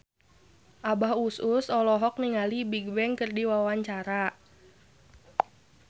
Abah Us Us olohok ningali Bigbang keur diwawancara